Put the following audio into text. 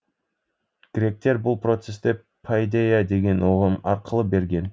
гректер бұл процесті пайдейя деген ұғым арқылы берген